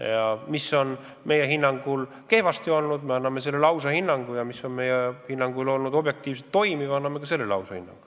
Ja kui miski on meie hinnangul kehvasti olnud, siis me anname sellele ausa hinnangu, ning kui miski on meie hinnangul juhtunud objektiivsetel põhjustel, siis me anname ka sellele ausa hinnangu.